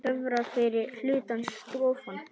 Töfrar fyrri hlutans dofna.